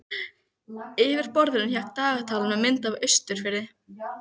Yfir borðinu hékk dagatal með mynd af Austurfirði.